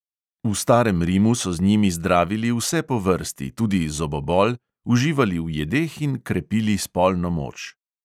V starem rimu so z njimi zdravili vse po vrsti, tudi zobobol, uživali v jedeh in krepili spolno moč.